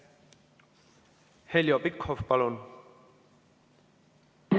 Heljo Pikhof, palun!